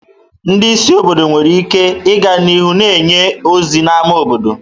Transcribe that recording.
Ndị isi obodo nwere ike ịga n'ihu na-enye ozi n'ámá obodo.